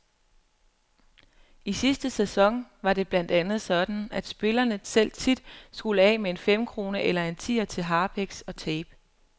I sidste sæson var det blandt andet sådan, at spillerne selv tit skulle af med en femkrone eller en tier til harpiks og tape.